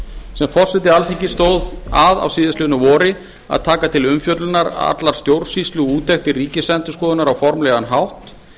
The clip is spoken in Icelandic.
sem forseti alþingis stóð að á síðastliðnu vori að taka til umfjöllunar allar stjórnsýsluúttektir ríkisendurskoðunar á formlegan hátt